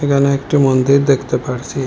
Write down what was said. এখানে একটি মন্দির দেখতে পারছি।